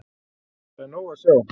Það er nóg að sjá.